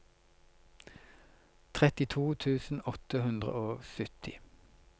trettito tusen åtte hundre og sytti